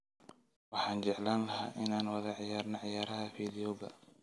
Waxaan jeclaan lahaa inaan wada ciyaarno ciyaaraha fiidiyowga